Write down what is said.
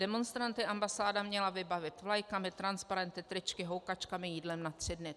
Demonstranty ambasáda měla vybavit vlajkami, transparenty, tričky, houkačkami, jídlem na tři dny.